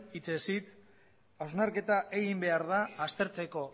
hitzez hitz hausnarketa egin behar da aztertzeko